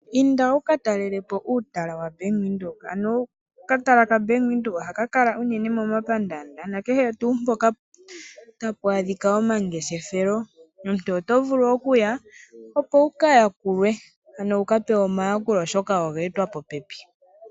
Inda wukatalele po uutala waBank Windhoek, ano okatala kaBank Windhoek ohaka kala ano uunene momapandaanda nakehe tuu mpoka tapu adhika omangeshefelo. Omuntu oto vulu okuya opo wukayakulwe ano wukapewe omayakulo oshoka oga etwa popepi.